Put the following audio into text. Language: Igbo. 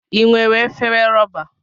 I nwere efere rọba.